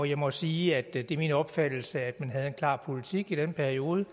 jeg må sige at det det er min opfattelse at man havde en klar politik i den periode